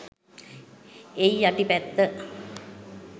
එයි යටි පැත්ත